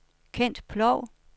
Kent Ploug